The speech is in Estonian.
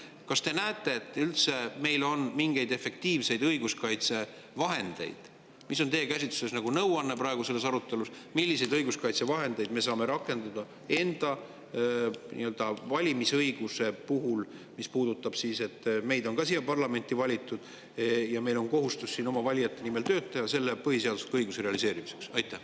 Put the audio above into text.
Kas te näete, et meil üldse on mingeid efektiivseid õiguskaitsevahendeid, või mis on teie käsitluses nõuanne praeguses arutelus, milliseid õiguskaitsevahendeid me saame rakendada enda nii-öelda valimisõiguse puhul, mis puudutab seda, et meid on ka siia parlamenti valitud ja meil on kohustus oma valijate nimel tööd teha selle põhiseadusliku õiguse realiseerimiseks?